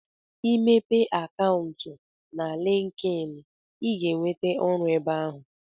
Ị mepee akantụ na linkeein ị ga ewente ọrụ ebe ahụ